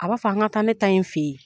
A b' a fɔ an ka taa ne ta in fɛ yen.